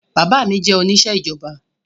Bàbá mi jẹ́ oníṣẹ́ ìjọba